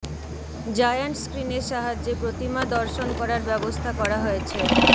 giant স্ক্রিনের সাহায্যে প্রতিমা দর্শন করার ব্যবস্থা করা হয়েছে